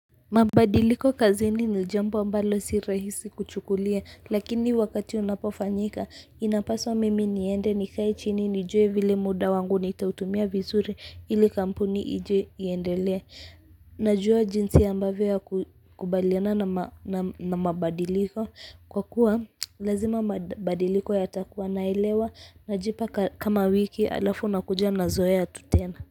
Mabadiliko kazini ni jambo ambalo si rahisi kuchukulia lakini wakati unapofanyika inapaswa mimi niende nikae chini nijue vile muda wangu nitautumia vizuri ili kampuni ije iendelee. Najua jinsi ambavyo ya kukubaliana na na mabadiliko kwa kuwa lazima mabadiliko yatakuwa naelewa najipa kama wiki halafu nakuja nazoea tu tena.